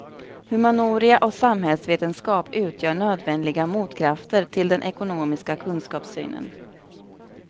Humaniora och samhällsvetenskap utgör nödvändiga motkrafter till den ekonomistiska kunskapssynen.